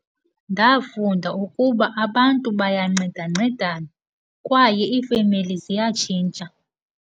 Ndafunda ukuba abantu bayancedancedana kwaye iifemeli ziyatshintsha.